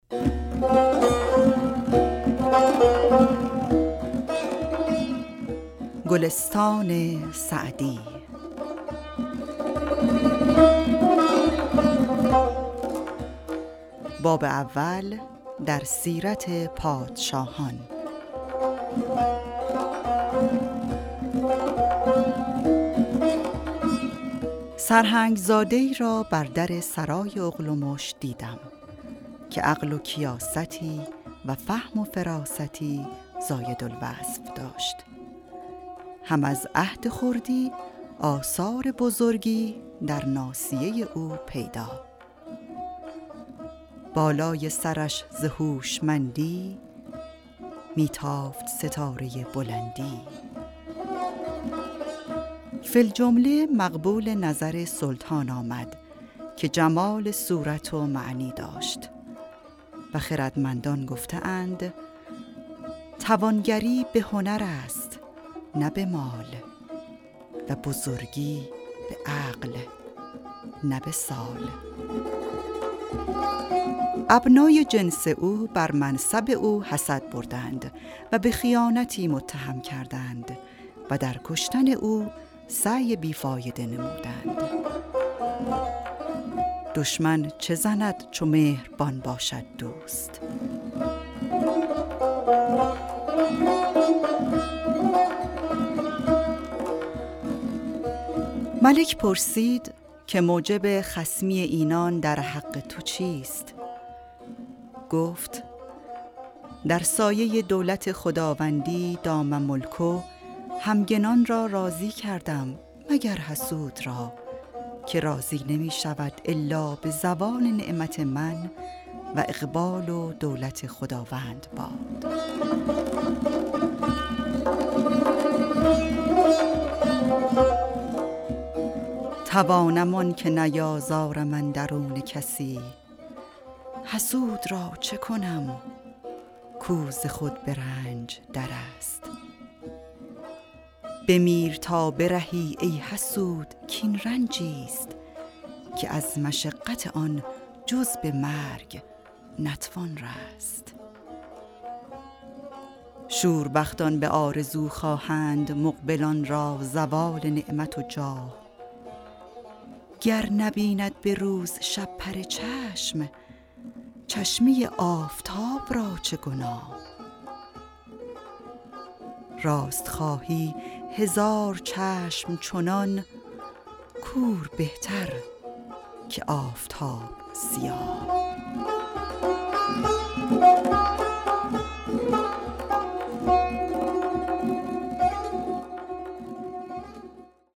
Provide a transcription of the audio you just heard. سرهنگ زاده ای را بر در سرای اغلمش دیدم که عقل و کیاستی و فهم و فراستی زاید الوصف داشت هم از عهد خردی آثار بزرگی در ناصیه او پیدا بالای سرش ز هوشمندی می تافت ستاره بلندی فی الجمله مقبول نظر سلطان آمد که جمال صورت و معنی داشت و خردمندان گفته اند توانگری به هنر است نه به مال و بزرگی به عقل نه به سال ابنای جنس او بر منصب او حسد بردند و به خیانتی متهم کردند و در کشتن او سعی بی فایده نمودند دشمن چه زند چو مهربان باشد دوست ملک پرسید که موجب خصمی اینان در حق تو چیست گفت در سایه دولت خداوندی دام ملکه همگنان را راضی کردم مگر حسود را که راضی نمی شود الا به زوال نعمت من و اقبال و دولت خداوند باد توانم آنکه نیازارم اندرون کسی حسود را چه کنم کو ز خود به رنج در است بمیر تا برهی ای حسود کاین رنجی ست که از مشقت آن جز به مرگ نتوان رست شوربختان به آرزو خواهند مقبلان را زوال نعمت و جاه گر نبیند به روز شپره چشم چشمه آفتاب را چه گناه راست خواهی هزار چشم چنان کور بهتر که آفتاب سیاه